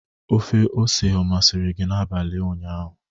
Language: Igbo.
Ofe ose ọ masịrị gị n'abalị ụnyaahụ?